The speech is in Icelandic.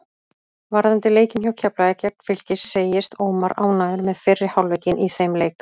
Varðandi leikinn hjá Keflavík gegn Fylki segist Ómar ánægður með fyrri hálfleikinn í þeim leik.